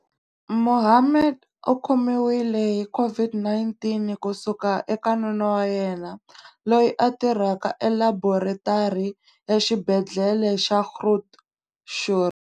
Mohammed u khomiwile hi COVID-19 ku suka eka nuna wa yena, loyi a tirhaka elaboretari ya Xibedhlele xa Groote Schuur.